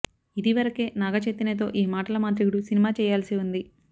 ఇది వరకే నాగ చైతన్య తో ఈ మాటల మాంత్రికుడు సినిమా చేయాల్సి ఉంది